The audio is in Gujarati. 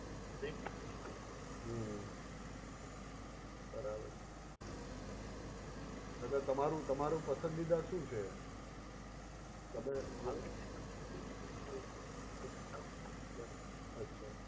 બેંક થ્રૂ જ હોય હમ્મ બરાબર અને તમારું તમારું પસંદીદા શું છે? તમે અચ્છા.